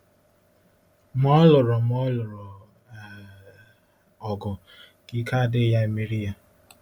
Ma ọ lụrụ Ma ọ lụrụ um ọgụ ka ike adịghị ya emeri ya.